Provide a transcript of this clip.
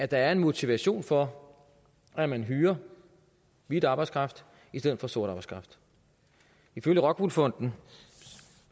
der er en motivation for at man hyrer hvid arbejdskraft i stedet for sort arbejdskraft ifølge rockwool fondens